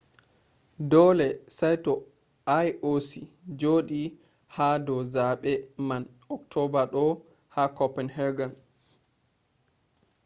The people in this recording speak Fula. dole saito ioc jodi ha do zabe man october do ha copenhagen